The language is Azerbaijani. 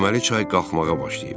Deməli çay qalxmağa başlayıb.